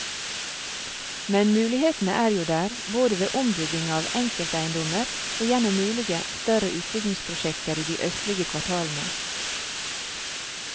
Men mulighetene er jo der, både ved ombygging av enkelteiendommer og gjennom mulige større utbyggingsprosjekter i de østlige kvartalene.